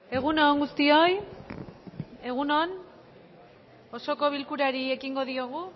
egun on guztioi egun on osoko bilkurari